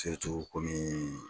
o kɔni.